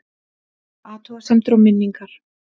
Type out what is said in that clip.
Athugasemdir og minningar